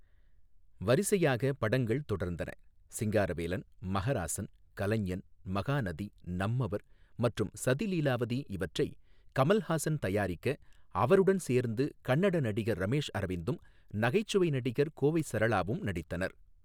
வரிசையாகப் படங்கள் தொடர்ந்தன. சிங்காரவேலன், மஹராசன், கலைஞன், மகாநதி, நம்மவர் மற்றும் சதி லீலாவதி, இவற்றை கமல்ஹாசன் தயாரிக்க அவருடன் சேர்ந்து கன்னட நடிகர் ரமேஷ் அரவிந்தும் நகைச்சுவை நடிகர் கோவை சரளாவும் நடித்தனர்.